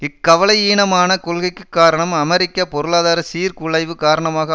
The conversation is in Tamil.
இக்கவலையீனமான கொள்கைக்கு காரணம் அமெரிக்க பொருளாதார சீர்குலைவு காரணமாக